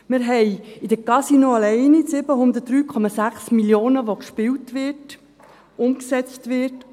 Wir haben in den Casinos allein 703,6 Mio. Franken, die gespielt, die umgesetzt werden.